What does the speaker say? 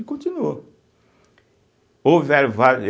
E continuou, houveram va.